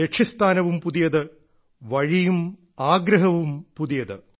ലക്ഷ്യ സ്ഥാനവും പുതിയത് വഴിയും ആഗ്രഹവും പുതിയത്